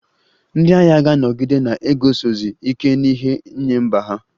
Ndị agha ga-anọgide na-eguzosi ike n'ihe nye mba ha